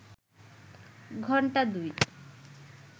ঘন্টা দুই